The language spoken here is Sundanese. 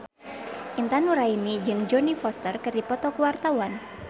Intan Nuraini jeung Jodie Foster keur dipoto ku wartawan